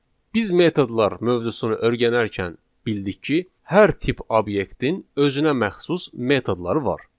Biz metodlar mövzusunu öyrənərkən bildik ki, hər tip obyektin özünə məxsus metodları var.